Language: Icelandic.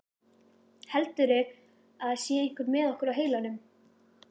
Heldurðu að það sé einhver með okkur á heilanum?